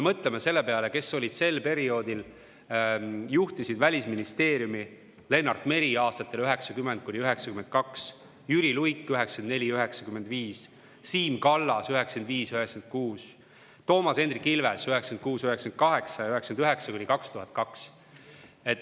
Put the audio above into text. Mõtleme selle peale, kes sel perioodil juhtisid Välisministeeriumi – Lennart Meri aastatel 1990–1992, Jüri Luik 1994–1995, Siim Kallas 1995–1996, Toomas Hendrik Ilves 1996–1998 ja 1999–2002.